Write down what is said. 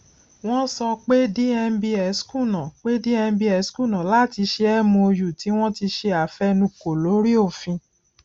wọn sọ pé dmbs kùnà pé dmbs kùnà láti ṣe mou tí wọn ti ṣe àfẹnukò lórí òfin